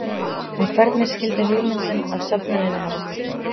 En hvernig skyldi hugmyndin að söfnuninni hafa kviknað?